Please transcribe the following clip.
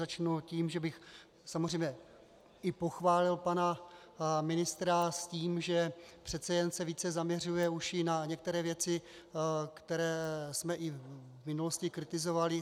Začnu tím, že bych samozřejmě i pochválil pana ministra s tím, že přece jen se více zaměřuje už i na některé věci, které jsme i v minulosti kritizovali.